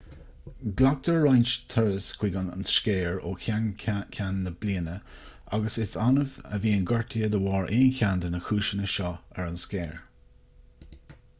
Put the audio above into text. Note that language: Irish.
glactar roinnt turas chuig an scéir ó cheann ceann na bliana agus is annamh a bhíonn gortuithe de bharr aon cheann de na cúiseanna seo ar an scéir